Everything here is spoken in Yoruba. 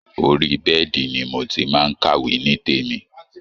Orí bẹ́ẹ̀dì ni mo ti máa ń kàwé nítèmi